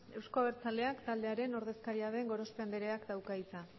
euzko abertzaleak taldearen ordezkaria den gorospe andreak dauka hitza